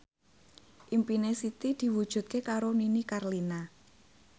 impine Siti diwujudke karo Nini Carlina